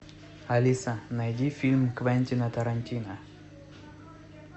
алиса найди фильм квентина тарантино